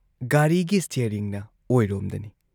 ꯒꯥꯔꯤꯒꯤ ꯁ꯭ꯇꯤꯌꯥꯔꯤꯡꯅ ꯑꯣꯏꯔꯣꯝꯗꯅꯤ ꯫